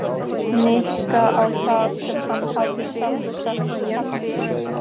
Nikka á það sem hann hafði sjálfur sagt um Kamillu.